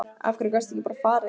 Af hverju gastu ekki bara farið?